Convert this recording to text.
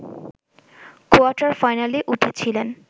কোয়ার্টার-ফাইনালে উঠেছিলেন